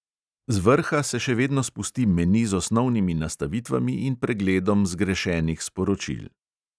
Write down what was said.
Z vrha se še vedno spusti meni z osnovnimi nastavitvami in pregledom zgrešenih sporočil.